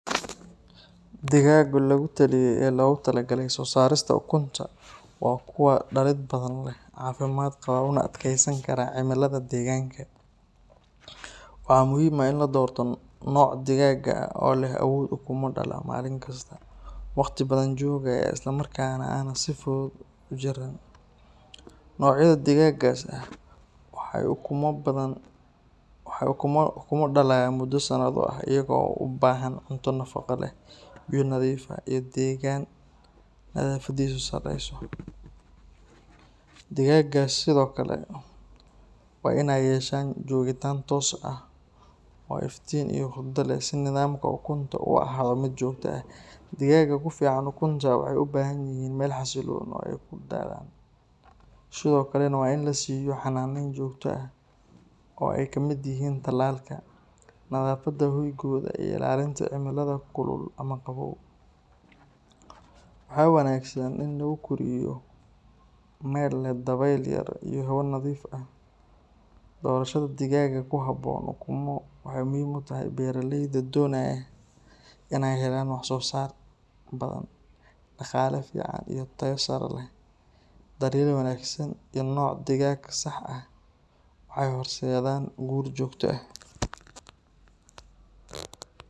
Digaagga lagu taliyay ee loogu tala galay soo saarista ukunta waa kuwa dhalid badan leh, caafimaad qaba, una adkeysan kara cimilada deegaanka. Waxaa muhiim ah in la doorto nooc digaag ah oo leh awood ukumo dhala maalin kasta, waqti badan joogaya isla markaana aan si fudud u jiran. Noocyada digaaggaas ah waxay ukumo dhalayaan muddo sanado ah iyagoo u baahan cunto nafaqo leh, biyo nadiif ah, iyo deegaan nadaafadiisu sarreyso. Digaaggaas sidoo kale waa inay yeeshaan joogitaan toos ah oo iftiin iyo hurdo leh si nidaamka ukunta u ahaado mid joogto ah. Digaagga ku fiican ukunta waxay u baahan yihiin meel xasilloon oo ay ku dhalaan, sidoo kalena waa in la siiyo xanaaneyn joogto ah oo ay ka mid yihiin tallaalka, nadaafadda hoygooda, iyo ilaalinta cimilada kulul ama qabow. Waxaa wanaagsan in lagu koriyo meel leh dabayl yar iyo hawo nadiif ah. Doorashada digaagga ku habboon ukumo waxay muhiim u tahay beeraleyda doonaya in ay helaan wax soo saar badan, dhaqaale fiican iyo tayo sare. Daryeel wanaagsan iyo nooc digaag sax ah waxay horseedaan guul joogto ah.